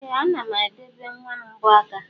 Ee ana m adi ebe nwam mbọ aka.